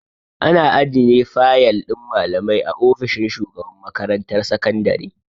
Ana ajiye fayal din malamai a ofishin shugaban makarantar sakandare.